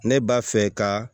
Ne b'a fɛ ka